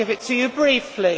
I give it to you briefly.